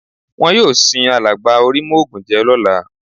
Wọn yóò sin alàgbà Orímọ́ògùnjẹ́ lọ́la